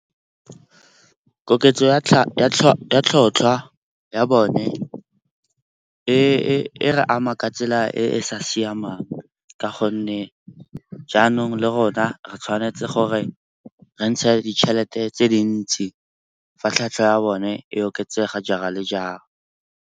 Koketso ya tlhotlhwa ya bone e re ama ka tsela e e sa siamang, ka gonne jaanong le rona re tshwanetse gore re ntshe ditšhelete tse dintsi fa tlhatlhwa ya bone e oketsega jaar-a le jaar-a.